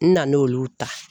N na n'olu ta.